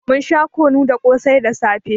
Mun sha kunu da ƙosai da safe.